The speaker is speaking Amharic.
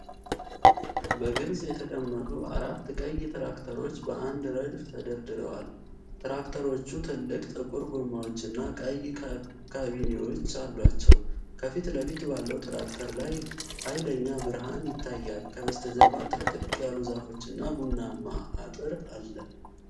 በግልጽ የተቀመጡ አራት ቀይ ትራክተሮች በአንድ ረድፍ ተደርድረዋል። ትራክተሮቹ ትልቅ ጥቁር ጎማዎችና ቀይ ካቢኔዎች አሏቸው። ከፊት ለፊት ባለው ትራክተር ላይ ኃይለኛ ብርሃን ይታያል፣ ከበስተጀርባ ጥቅጥቅ ያሉ ዛፎች እና ቡናማ አጥር አለ።